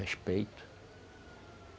Respeito.